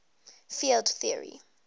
field theory